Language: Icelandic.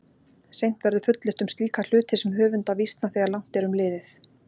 Seint verður fullyrt um slíka hluti sem höfunda vísna þegar langt er um liðið.